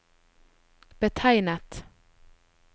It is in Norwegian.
betegnet